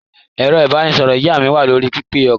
Ẹ̀rọ-ìbánisọ̀rọ̀ ìyá mi wà lórí pẹpẹ-okọ̀.